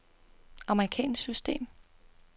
amerikansk system